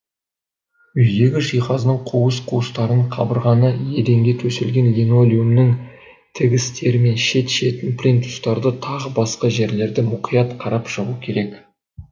үйдегі жиһаздың қуыс қуыстарын кабырғаны еденге төселген линолеумнің тігістері мен шет шетін плинтустарды тағы басқа жерлерді мұқият қарап шығу керек